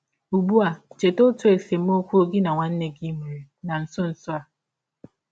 Ụgbụ a, cheta ọtụ esemọkwụ gị na nwanne gị nwere na nsọ nsọ a.